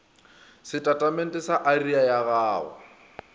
setatamente sa area ya go